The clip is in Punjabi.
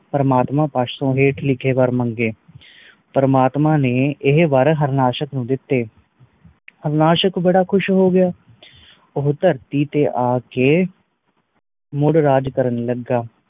ਪ੍ਰਮਾਤਮਾ ਪਾਸ ਤੋਂ ਹੇਠਲੇ ਵਾਰ ਮੰਗੇ ਪ੍ਰਮਾਤਮਾ ਨੇਇਹ ਵਾਰ ਹਾਰਨਾਸ਼ਕ ਨੂੰ ਦਿੱਤੇ ਹਾਰਨਾਸ਼ਕ ਬੜਾ ਖੁਸ਼ ਹੋ ਗਯਾ ਉਹ ਧਰਤੀ ਤੇ ਆਕੇ ਮੂਡ ਰਾਜ ਕਰਨ ਲੱਗਾ